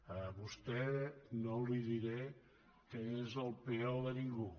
a vostè no li diré que és el peó de ningú